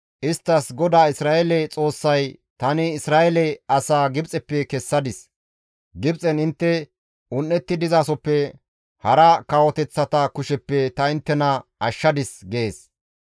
isttas, «GODAA Isra7eele Xoossay, ‹Tani Isra7eele asaa Gibxeppe kessadis; Gibxen intte un7etti dizasoppe, hara kawoteththata kusheppe ta inttena ashshadis› gees.